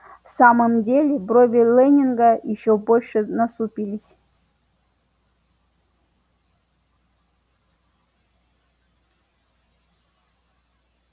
в самом деле брови лэннинга ещё больше насупились